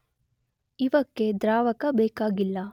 ಇವಕ್ಕೆ ದ್ರಾವಕ ಬೇಕಾಗಿಲ್ಲ.